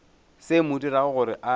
se mo dirago gore a